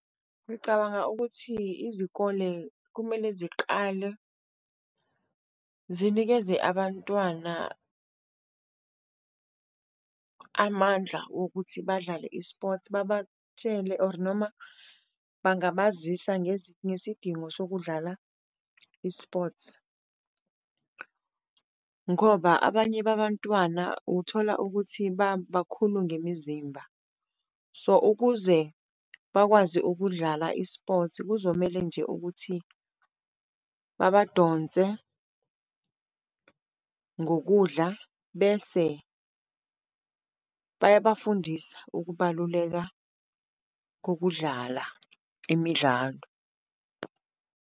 Ngicabanga ukuthi izikole kumele ziqale zinikeze abantwana amandla wokuthi badlale i-sport, babatshele or noma bangabazisa ngesidingo sokudlala i-sports ngoba abanye babantwana ukuthola ukuthi bakakhulu ngemizimba. So, ukuze bakwazi ukudlala i-sports kuzomele nje ukuthi babadonse ngokudla, bese bayabafundisa ukubaluleka kokudlala imidlalo.